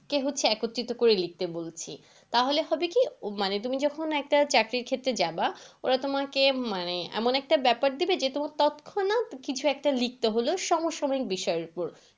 একে হচ্ছে একত্রিত করে লিখতে বলছি। তাহলে হবে কি মানে তুমি যখন একটা চাকরির ক্ষেত্রে যাবা ওরা তোমাকে মানে এমন একটা ব্যাপার দেবে যে তোমার তৎক্ষণাৎ কিছু একটা লিখতে হল সমসাময়িক বিষয়ের উপর।